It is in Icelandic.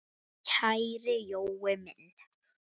Kæri Jói minn.